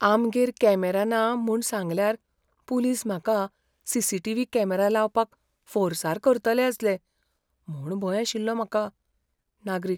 आमगेर कॅमेरा ना म्हूण सांगल्यार पुलीस म्हाका सी.सी.टी.व्ही. कॅमेरा लावपाक फोर्सार करतले आसले म्हूण भंय आशिल्लो म्हाका. नागरीक